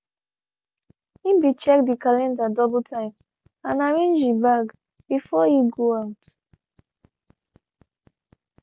he be check de calendar double time and arrange e bag before e go out.